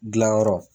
Dilanyɔrɔ